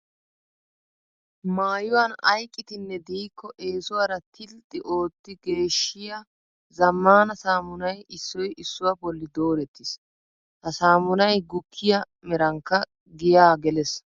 Maayuwan ay qitinne diikko eesuwara tilxxi ootti geeshshiya zammaana saamunay issoy issuwa bolli doorettiis. Ha saamunay gukkiya merankka giyaa gelees.